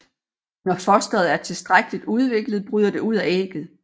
Når fosteret er tilstrækkeligt udviklet bryder det ud af ægget